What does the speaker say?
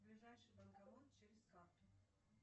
ближайший банкомат через карту